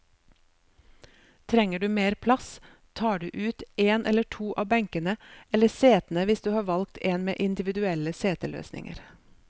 Trenger du mer plass, tar du ut en eller to av benkene, eller setene hvis du har valgt en med individuelle seteløsninger.